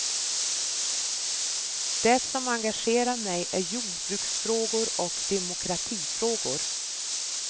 Det som engagerar mig är jordbruksfrågor och demokratifrågor.